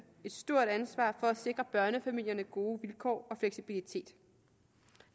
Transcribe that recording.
et stort ansvar for at sikre børnefamilierne gode vilkår og fleksibilitet